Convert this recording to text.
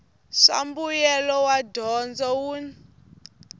swa mbuyelo wa dyondzo wun